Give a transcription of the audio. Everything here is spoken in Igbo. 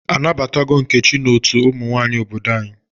A nabatago Nkechi n'otu ụmụ nwanyị obodo anyi?